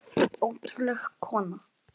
Ótrúleg kona.